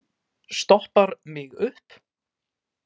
Stoppar mig upp?